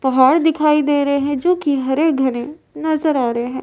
पहाड़ दिखाई दे रहे हैं जो कि हरे घने नजर आ रहे हैं।